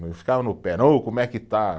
fica no pé, não, ô como é que está?